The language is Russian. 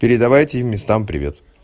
передавайте местам привет